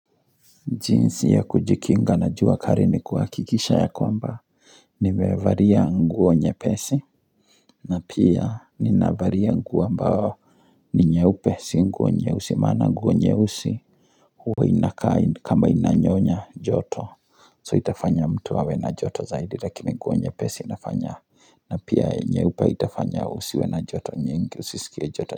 Jinsi ya kujikinga na jua kari ni kuhakikisha ya kwamba Nimevaria nguo nyepesi na pia ninavalia nguo ambao ni nyeupe si nguo nyeusi maana nguo nyeusi Huwa inakaa kama inanyonya joto So itafanya mtu awe na joto zaidi lakini nguo nyepesi inafanya na pia nyeupe itafanya usiwe na joto nyingi usisikie joto.